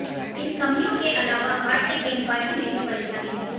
इन कमियों के अलावा भारतीय गेंदबाजी में भी परेशानी है